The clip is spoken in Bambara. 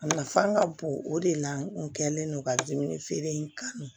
A nafa ka bon o de la n kun kɛlen don ka dumuni feere in kanu